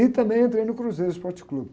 E também entrei no Cruzeiro Esporte Clube.